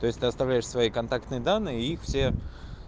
то есть ты оставляли свои контактные данные и их все